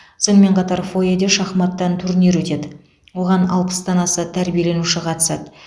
сонымен қатар фойеде шахматтан турнир өтеді оған алпыстан аса тәрбиеленуші қатысады